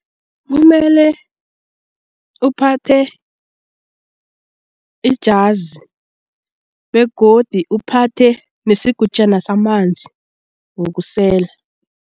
Kumele uphathe ijazi begodi uphathe nesigujana samanzi wokusela.